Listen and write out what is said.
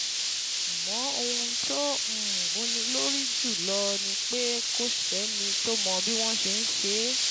Àmọ́ ohun tó um wúni lórí jù lọ ni pé kò sẹ́ni tó mọ bí wọ́n ṣe